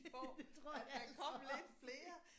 Det tror jeg altså også